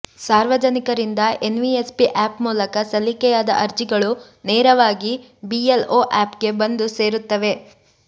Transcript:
ಸಾರ್ವಜನಿಕರಿಂದ NVSP app ಮೂಲಕ ಸಲ್ಲಿಕೆಯಾದ ಅರ್ಜಿಗಳು ನೆರವಾಗಿ ಬಿಎಲ್ಒ ಆ್ಯಪ್ಗೆ ಬಂದು ಸೇರುತ್ತವೆ